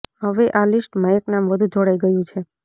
હવે આ લિસ્ટમાં એક નામ વધુ જોડાઈ ગયું છે